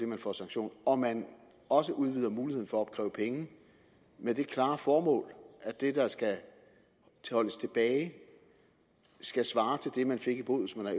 man får sanktioner og man også udvider muligheden for at opkræve penge med det klare formål at det der skal holdes tilbage skal svare til det man fik i bod hvis man var